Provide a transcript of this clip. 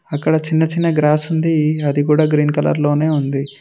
అక్కడ చిన్న చిన్న గ్రాస్ ఉంది అది కూడా గ్రీన్ కలర్ లోనే ఉంది.